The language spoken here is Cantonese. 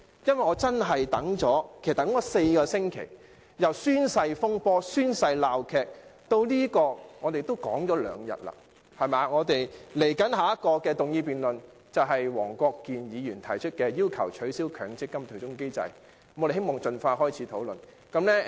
因為我真的等了4個星期，由宣誓風波/鬧劇至這項議案，我們也討論了兩天，接下來的議案辯論是由黃國健議員提出的"取消強制性公積金對沖機制"，我們希望能盡快開始討論。